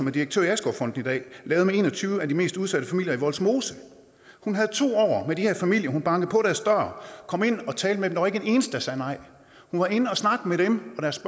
er direktør i askovfonden i dag lavede med en og tyve af de mest udsatte familier i vollsmose hun havde to år med de her familier hun bankede på deres dør kom ind og talte med dem der var ikke én eneste der sagde nej hun var inde at snakke med dem og deres